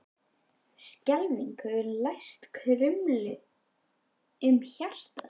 Skelfing hefur læst krumlu um hjartað.